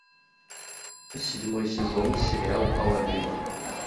седьмой сезон сериал аладдин